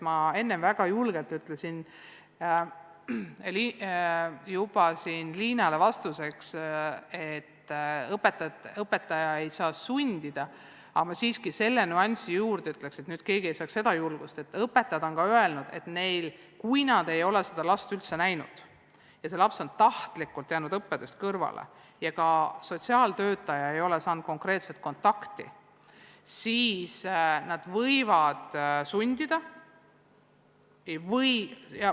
Ma enne siin väga julgelt ütlesin Liinale vastuseks, et õpetaja ei saa sundida, aga selle nüansi lisan siiski juurde, et õpetajad on öelnud ka seda, et kui nad ei ole seda või teist last üldse näinud ja laps on tahtlikult jäänud õppetööst kõrvale ja ka sotsiaaltöötaja ei ole konkreetset kontakti saanud, siis nad võivad sundida.